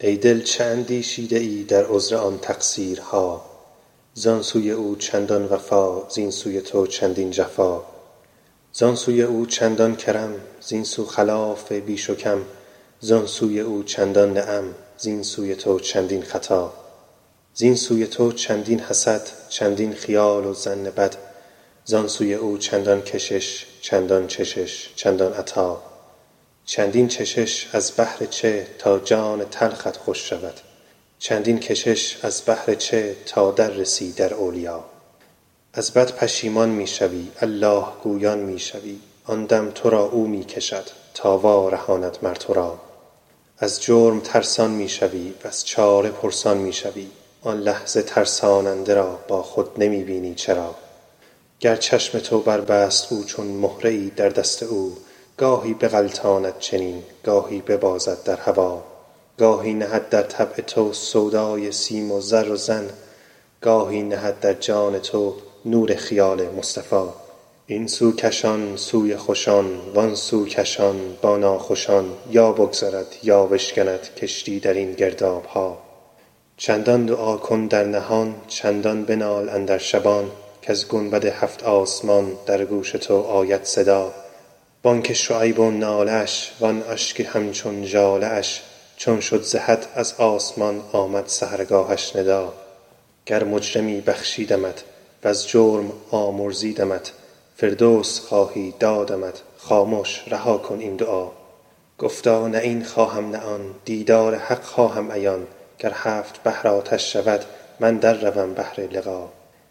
ای دل چه اندیشیده ای در عذر آن تقصیرها زان سوی او چندان وفا زین سوی تو چندین جفا زان سوی او چندان کرم زین سو خلاف و بیش و کم زان سوی او چندان نعم زین سوی تو چندین خطا زین سوی تو چندین حسد چندین خیال و ظن بد زان سوی او چندان کشش چندان چشش چندان عطا چندین چشش از بهر چه تا جان تلخت خوش شود چندین کشش از بهر چه تا در رسی در اولیا از بد پشیمان می شوی الله گویان می شوی آن دم تو را او می کشد تا وارهاند مر تو را از جرم ترسان می شوی وز چاره پرسان می شوی آن لحظه ترساننده را با خود نمی بینی چرا گر چشم تو بربست او چون مهره ای در دست او گاهی بغلطاند چنین گاهی ببازد در هوا گاهی نهد در طبع تو سودای سیم و زر و زن گاهی نهد در جان تو نور خیال مصطفیٰ این سو کشان سوی خوشان وان سو کشان با ناخوشان یا بگذرد یا بشکند کشتی در این گرداب ها چندان دعا کن در نهان چندان بنال اندر شبان کز گنبد هفت آسمان در گوش تو آید صدا بانگ شعیب و ناله اش وان اشک همچون ژاله اش چون شد ز حد از آسمان آمد سحرگاهش ندا گر مجرمی بخشیدمت وز جرم آمرزیدمت فردوس خواهی دادمت خامش رها کن این دعا گفتا نه این خواهم نه آن دیدار حق خواهم عیان گر هفت بحر آتش شود من در روم بهر لقا